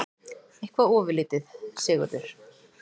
Eitthvað ofurlítið, Sigurður?